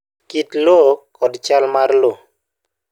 Kit lowo kod chal mar lowo